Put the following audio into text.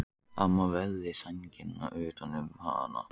Amma vafði sænginni utan um hana.